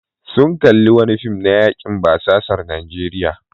Sun kalli wani fim na yakin basasar Najeriya.